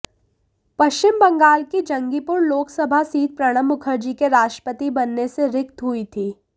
पश्चिम बंगाल की जंगीपुर लोकसभा सीट प्रणब मुखर्जी के राष्ट्रपति बनने से रिक्त हुई थी